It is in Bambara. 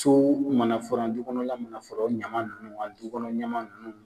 So mana furan du kɔnɔ la mana furan, o ɲama nunnu a du kɔnɔ ɲama nunnu .